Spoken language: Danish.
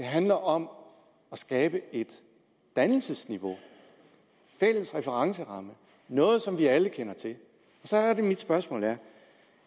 handler om at skabe et dannelsesniveau en fælles referenceramme noget som vi alle kender til mit spørgsmål er